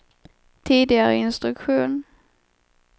tidigare instruktion